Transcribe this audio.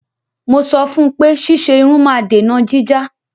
Mo sọ fún un pé ṣíṣe irun máa dènà jíjá.